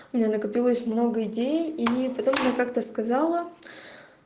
у меня накопилось много идей и потом она как-то сказала